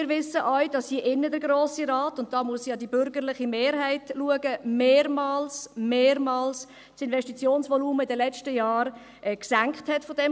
Wir wissen auch, dass der Grosse Rat – und da muss ich zur bürgerlichen Mehrheit schauen – das Investitionsvolumen dieses Kantons in den letzten Jahren mehrmals – mehrmals – senkte.